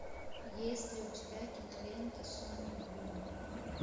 есть ли у тебя кинолента соник бум